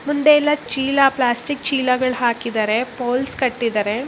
ಮುಂದೆ ಎಲ್ಲಾ ಚೀಲಾ ಪ್ಯಾಸ್ಟಿಕ್ ಚೀಲಾಗಳ್ ಹಾಕಿದಾರೆ ಪೋಲ್ಸ್ ಕಟ್ಟಿದಾರೆ.